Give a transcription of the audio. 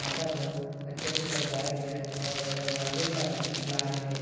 माता को अच्छे से सजाया गया है और दरवाजे का रंग लाल है।